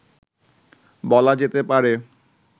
বলা যেতে পারে